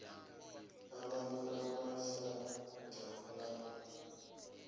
amanye amahlandla la